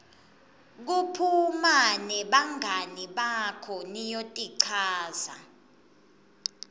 kuphuma nebangani bakho niyotichaza